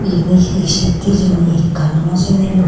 eyani he sheet hejini ekano no sinilung.